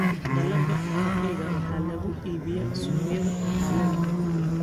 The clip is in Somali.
Dalagga kafeega waxaa lagu iibiyaa suuqyada caalamiga ah.